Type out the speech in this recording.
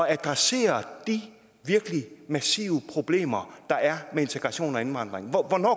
adressere de virkelig massive problemer der er med integration og indvandring